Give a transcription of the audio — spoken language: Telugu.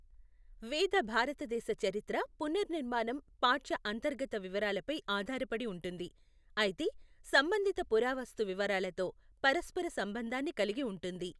వేద భారతదేశ చరిత్ర పునర్నిర్మాణం పాఠ్య అంతర్గత వివరాలపై ఆధారపడి ఉంటుంది, అయితే సంబంధిత పురావస్తు వివరాలతో పరస్పర సంబంధాన్ని కలిగి ఉంటుంది.